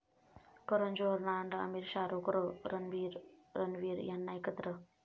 करण जोहरनं आणलं आमिर, शाहरुख, रणबीर, रणवीर यांना एकत्र